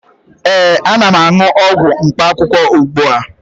ee, ana m aṅụ ọgwụ mkpaakwụkwọ ugbu a